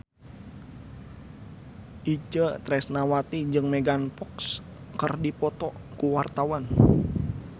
Itje Tresnawati jeung Megan Fox keur dipoto ku wartawan